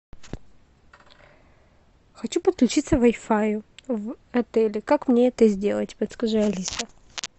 хочу подключиться к вай фаю в отеле как мне это сделать подскажи алиса